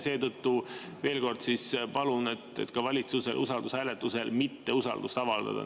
Seetõttu ma veel kord palun valitsuse usalduse hääletusel mitte usaldust avaldada.